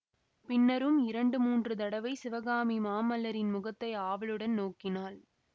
பின்னரும் இரண்டு மூன்று தடவை சிவகாமி மாமல்லரின் முகத்தை ஆவலுடன் நோக்கினாள்